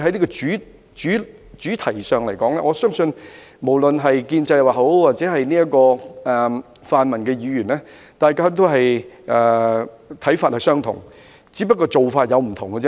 在這項主題上，我相信無論是建制派或泛民議員，大家的看法也相同，只是做法不同。